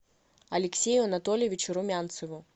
алексею анатольевичу румянцеву